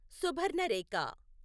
Subarnarekha